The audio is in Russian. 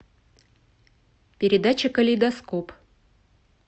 передача калейдоскоп